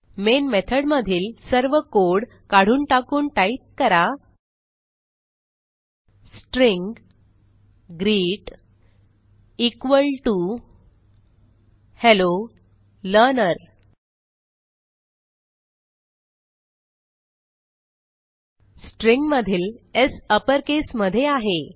main method मधील सर्व code काढून टाकून टाईप करा string greet equal T O hello learner string मधील स् अपरकेस मध्ये आहे